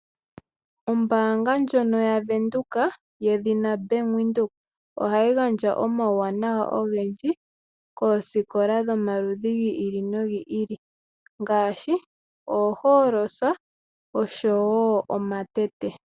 Ombaanga ndjono yaVenduka yedhina Bank Windhoek, ohayi gandja omauwanawa ogendji koosikola dhomaludhi gi ili nogi ili ngaashi oohooloosa oshowo omatete.